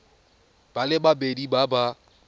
ba le babedi ba ba